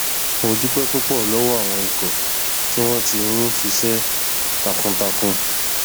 mo dúpẹ púpọ lọwọ àwọn ikọ tí wọn ti ń ṣiṣẹ takuntakun